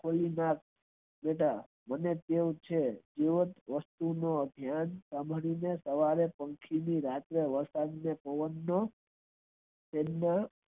મને કેવું કે કોઈ વ્યક્તિ નો સાંભળી ને સવારે company રાત્રે વળતા પવન નો